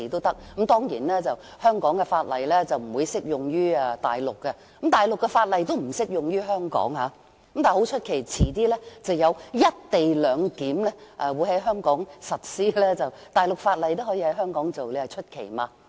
當然，香港的法例不適用於大陸，而大陸的法例亦不適用於香港，但很奇怪，稍後會在香港實施"一地兩檢"，大陸法例也可以在香港實施，你說奇怪嗎？